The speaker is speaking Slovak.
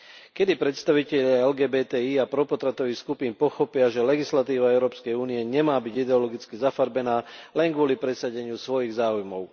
Kedy predstavitelia LGBTI a propotratových skupín pochopia, že legislatíva EÚ nemá byť ideologicky zafarbená len kvôli presadeniu svojich záujmov?